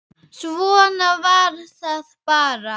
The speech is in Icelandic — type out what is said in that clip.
Svona var það bara.